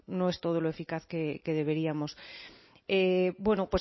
no es todo lo eficaz que deberíamos bueno